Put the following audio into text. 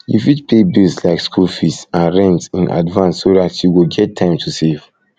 you fit pay bills like school fees and rent in advance so dat you go get time to save